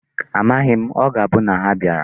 Amaghi m. O ga-abu na ha bịara.